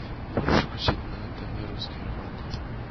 можешь включить на тв русский роман